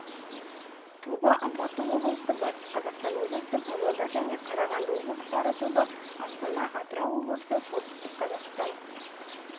тобы алматы облысы батыс қазақстан облысы павлодар және қарағанды облыстары тобы астана атырау облысы солтүстік қазақстан